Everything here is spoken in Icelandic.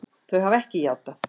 Þau hafa ekki játað.